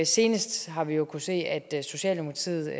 senest har vi jo kunnet se at socialdemokratiet